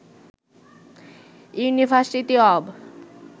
university of